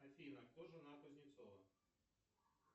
афина кто жена кузнецова